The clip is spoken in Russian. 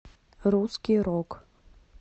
русский рок